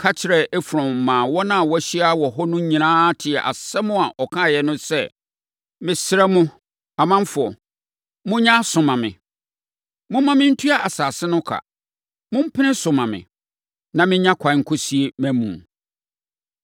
ka kyerɛɛ Efron maa wɔn a wɔahyia wɔ hɔ no nyinaa tee asɛm a ɔkaeɛ no sɛ, “Mesrɛ mo, ɔmanfoɔ, monyɛ aso mma me. Momma mentua asase no ka. Mompene so mma me, na mennya ɛkwan nkɔsie mʼamu no.”